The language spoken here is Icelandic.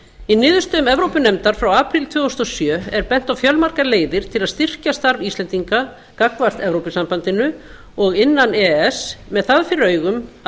í niðurstöðum evrópunefndar frá apríl tvö þúsund og sjö er bent á fjölmargar leiðir til að styrkja starf íslendinga gagnvart evrópusambandinu og innan e e s með það fyrir augum að